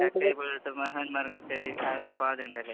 മഹാന്മാര്‍ കളിച്ച ആ ഒരു പാതയുണ്ടല്ലേ?